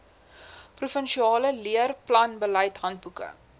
provinsiale leerplanbeleid handboeke